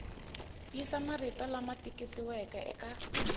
yisa marito lama tikisiweke eka